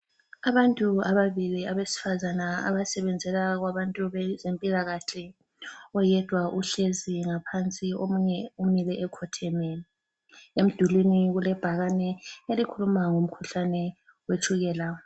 Abantu ababili abesifazana abasebenzela kwabantu bezempilakahle. Oyedwa uhlezi ngaphansi, omunye umile ekhotheme. Emdulini kulebhakane elikhuluma ngomkhuhlane wetshukela.